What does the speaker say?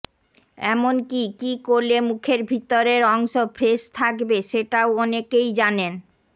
এমনকী কি করলে মুখের ভিতরের অংশ ফ্রেশ থাকবে সেটাও অনেকেই জানেন